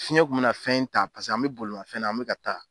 Fiyɛn kun bɛna fɛn ta paseke an bɛ bolimafɛn na an bɛ ka taa.